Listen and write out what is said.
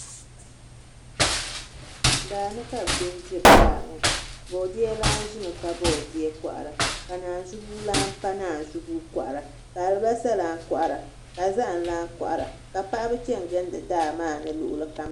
Daani ka bi bɛ n diri daa ŋo boodiyɛ lan ʒimi pa boodiyɛ kohara ka naanzu buu lan pa naanzu buu kohara ka alibarisa lan kohara ka zaham lan kohara ka paɣaba chɛni gindi daa maa ni luɣulu kam zaa